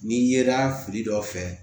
N'i yera fili dɔ fɛ